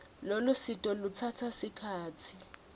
lolusito lutsatsa sikhatsi